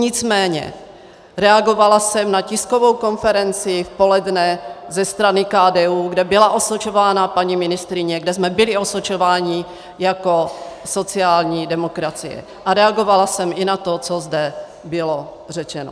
Nicméně reagovala jsem na tiskovou konferenci v poledne ze strany KDU, kde byla osočována paní ministryně, kde jsme byli osočováni jako sociální demokracie, a reagovala jsem i na to, co zde bylo řečeno.